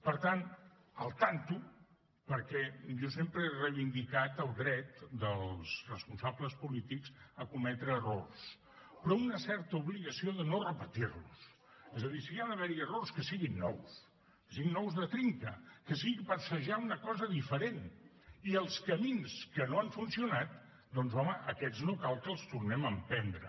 per tant compte perquè jo sempre he reivindicat el dret dels responsables polítics a cometre errors però una certa obligació de no repetir los és a dir si hi ha d’haver errors que siguin nous que siguin nous de trinca que sigui per assajar una cosa diferent i els camins que no han funcionat doncs home aquests no cal que els tornem a emprendre